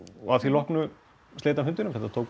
að því loknu sleit hann fundinum